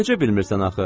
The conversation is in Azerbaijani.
Necə bilmirsən axı?